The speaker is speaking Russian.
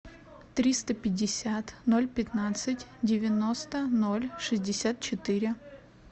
триста пятьдесят ноль пятнадцать девяносто ноль шестьдесят четыре